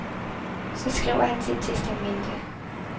Så skriver han sit testamente.